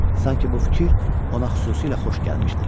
Sanki bu fikir ona xüsusilə xoş gəlmişdi.